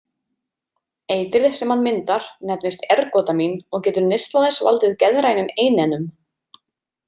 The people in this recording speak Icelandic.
Eitrið sem hann myndar nefnist ergotamín og getur neysla þess valdið geðrænum einennum.